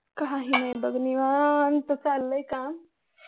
काही नाही बघ निवांत चाललंय काम